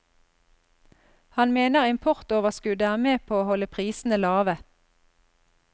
Han mener importoverskuddet er med på å holde prisene lave.